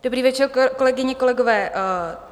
Dobrý večer, kolegyně, kolegové.